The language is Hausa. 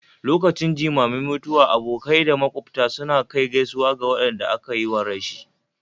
lokacin jimamin mutuwa abokai da makwabta suna kai gaisuwa ga wadanda aka yiwa rashi